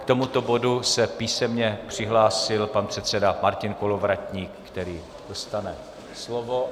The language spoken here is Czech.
K tomuto bodu se písemně přihlásil pan předseda Martin Kolovratník, který dostane slovo.